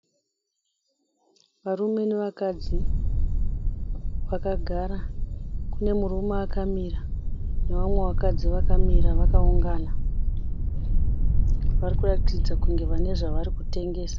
Varume nevakadzi vakagara. Kune murume akamira nevamwe vakadzi vakamira vakaungana. Vari kuratidza kunge vane zvavari kutengesa.